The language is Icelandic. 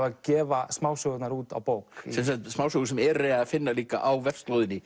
að gefa smásögurnar út á bók smásögur sem er að finna líka á vefslóðinni